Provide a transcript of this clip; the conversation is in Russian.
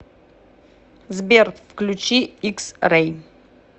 сбер включи икс рэй